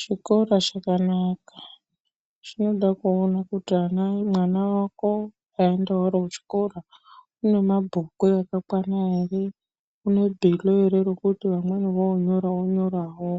Zvikora zvakanaka. Zvinoda kuona kuti mwana wako aenda waro kuchikora. Une mabhuku akakwana ere, une bhiro here rekuti vamweni vonyora onyorawo.